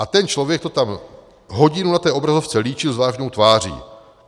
A ten člověk to tam hodinu na té obrazovce líčil s vážnou tváří.